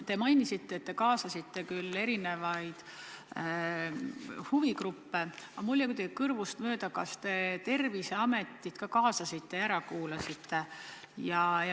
Te mainisite, et te kaasasite küll erinevaid huvigruppe, aga mul läks kuidagi kõrvust mööda, kas te Terviseameti ka kaasasite ja ära kuulasite.